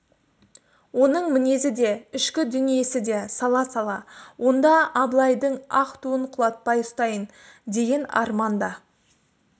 оның мінезі де ішкі дүниесі де сала-сала онда абылайдың ақ туын құлатпай ұстайын деген арман да